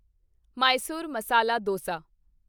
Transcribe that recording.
Mysore masala Dausa